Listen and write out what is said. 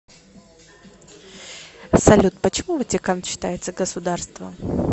салют почему ватикан считается государством